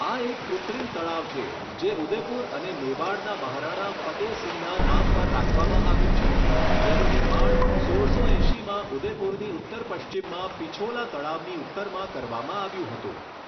આ એક કૃત્રિમ તળાવ છે, જે ઉદેપુર અને મેવાડના મહારાણા ફતેહસિંહના નામ પર રાખવામાં આવ્યું છે, જેનું નિર્માણ સોળસો એંશીમાં ઉદેપુરની ઉત્તર પશ્ચિમમાં પિછોલા તળાવની ઉત્તરમાં કરવામાં આવ્યું હતું.